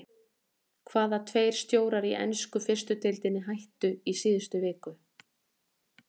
Hvaða tveir stjórar í ensku fyrstu deildinni hættu í síðustu viku?